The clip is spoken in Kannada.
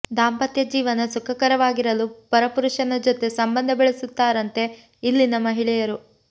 ದಾಂಪತ್ಯ ಜೀವನ ಸುಖಕರವಾಗಿರಲು ಪರ ಪುರುಷನ ಜೊತೆ ಸಂಬಂಧ ಬೆಳೆಸುತ್ತಾರಂತೆ ಇಲ್ಲಿನ ಮಹಿಳೆಯರು